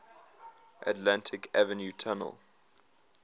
atlantic avenue tunnel